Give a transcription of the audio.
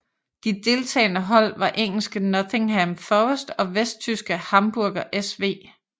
De deltagende hold var engelske Nottingham Forest og vesttyske Hamburger SV